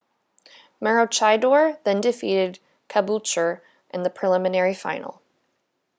maroochydore then defeated caboolture in the preliminary final